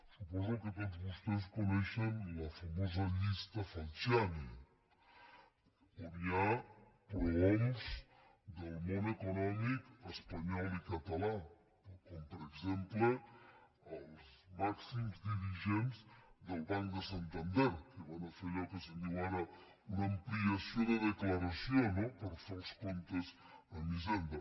suposo que tots vostès coneixen la famosa llista fal·ciani on hi ha prohoms del món econòmic espanyol i català com per exemple els màxims dirigents del banc de santander que van a fer allò que se’n diu ara una ampliació de declaració no per fer els comp·tes amb hisenda